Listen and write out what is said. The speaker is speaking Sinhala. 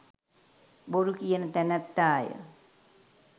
බොරුකියන තැනැත්තාය.